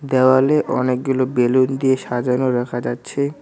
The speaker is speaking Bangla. দেওয়ালে অনেকগুলো বেলুন দিয়ে সাজানো রাখা যাচ্ছে।